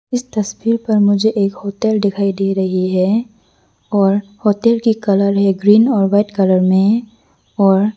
इस तस्वीर पर मुझे एक होटल दिखाई दे रही है और होटल की कलर है ग्रीन और वाइट कलर में और।